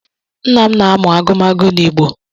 Nna m na-amụ agụmagụ n’Igbo